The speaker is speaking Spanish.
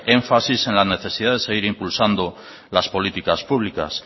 énfasis en la necesidad de seguir impulsando las políticas públicas